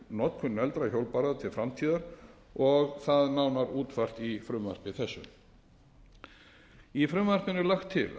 notkun negldra hjólbarða til framtíðar og það nánar útfært í frumvarpi þessu í frumvarpinu